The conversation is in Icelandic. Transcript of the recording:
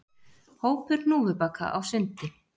Hópur hnúfubaka á sundi